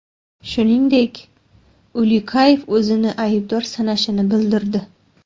Shuningdek, Ulyukayev o‘zini aybdor sanashini bildirdi.